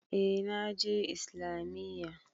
Eh na je Islamiyya.